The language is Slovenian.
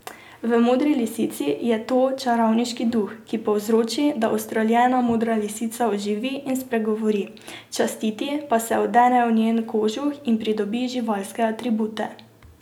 V Modri lisici je to čarovniški duh, ki povzroči, da ustreljena modra lisica oživi in spregovori, častiti pa se odene v njen kožuh in pridobi živalske atribute.